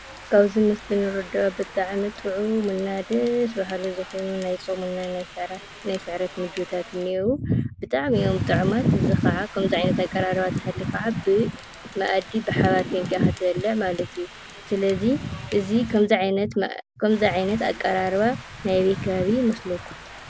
ካብዚ ምስሊ ንርድኦ ብጣዕሚ ጥዑም እና ደስ በሃሊ ዝኾነ ናይ ፆም እና ናይ ስዕረት ምግብታት እኔእዉ፡፡ ብጣዕሚ እዮም ጥዑማት። እዚ ከዓ ከምዚ ዓይነት ኣቀራርባ እንተሃልዩ ከዓ ብመኣዲ ብሓባር ኮይንካ ኢኻ ትበልዕ ማለት እዩ። ስለ እዚ እዚ ከምዚ ዓይነት ኣቀራርባ ናይ ኣበይ ከባቢ ይመስለኩም?